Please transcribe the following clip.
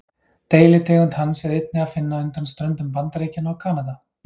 Deilitegund hans er einnig að finna undan ströndum Bandaríkjanna og Kanada.